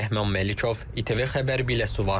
Rəhman Məlikov, ATV Xəbər, Biləsuvar.